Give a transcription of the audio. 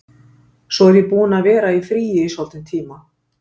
Svo ég er búin að vera í fríi í soldinn tíma.